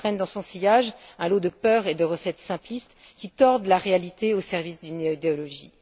Il traîne dans son sillage un lot de peurs et de recettes simplistes qui tordent la réalité au service d'une idéologie.